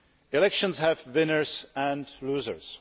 Elections have winners and losers.